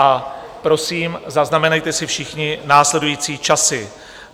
A prosím, zaznamenejte si všichni následující časy.